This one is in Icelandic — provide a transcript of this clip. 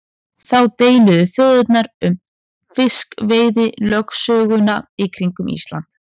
Þá deildu þjóðirnar um fiskveiðilögsöguna í kringum Ísland.